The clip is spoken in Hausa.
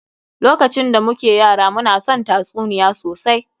Lokacin da muke yara, mu na son tatsuniya sosai.